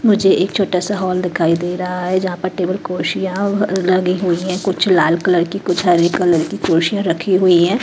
मुझे एक छोटा सा हॉल दिखाई दे रहा है जहां पर टेबल खुर्शिया लगी हुई है कुछ लाल कलर की कुछ हरे कलर की ख़ुर्शी रखी हुई है।